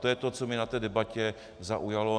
To je to, co mě na té debatě zaujalo.